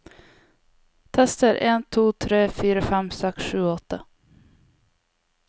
Tester en to tre fire fem seks sju åtte